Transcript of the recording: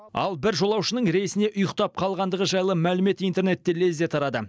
ал бір жолаушының рейсіне ұйықтап қалғандығы жайлы мәлімет интернетте лезде тарады